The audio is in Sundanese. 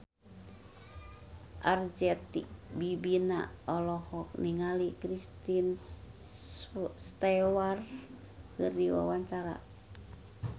Arzetti Bilbina olohok ningali Kristen Stewart keur diwawancara